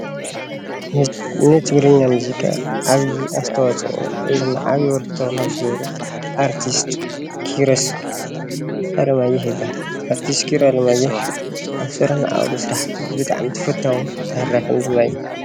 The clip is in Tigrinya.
ን ትግርኛ ሙዚቂ ዓብዩ ኣስተዋፅኦ ወይ ድማ ዓብዩ ኣበርክቶ ካብ ዝገበሩ ኣርቲስት ኪሮስ ኣለማዮህ ይበሃል። ኣርቲስት ኪሮስ ኣለማዮህ ኣብ ዝሰርሖም ስራሕቱ ብጣዕሚ ተፈታውን ተሃራፍን ድማ እዩ።